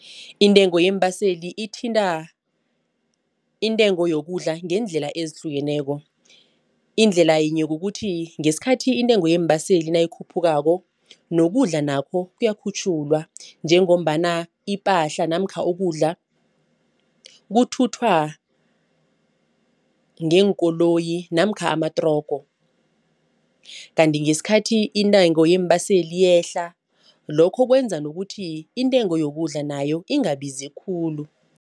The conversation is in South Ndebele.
Intengo yeembaseli ithinta intengo yokudla ngeendlela ezihlukeneko indlela yinye kukuthi ngesikhathi intengo yeembaseli nayikhuphukako nokudla nakho kuyakhutjhulwa njengombana ipahla namkha ukudla kuthuthwa ngeenkoloyi namkha amatrogo. Kanti ngesikhathi intengo yeembaseli iyehla lokho kwenza nokuthi intengo yokudla nayo ingabizi khulu.